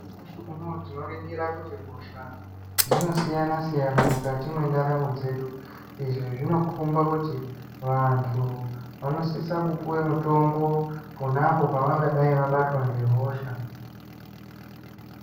Nyamashi unowu tinoningira kuti hosha dzinosiyana siyana mukati mwendaramo dzedu. Izvi zvinokomba kuti vantu vanosise kupuwa mutombo ponapo pavangadai vabatwa nehosha.